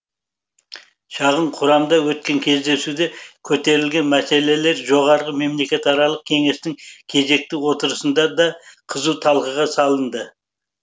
шағын құрамда өткен кездесуде көтерілген мәселелер жоғары мемлекетаралық кеңестің кезекті отырысында да қызу талқыға салынды